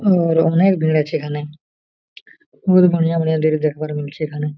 ओर ओनेक भीड़ आचे ईखने बहुत बढ़िया-बढ़िया भीड़ देखबर मिल्चे ईखने।